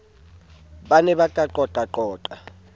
ba ne ba ka qoqaqoqa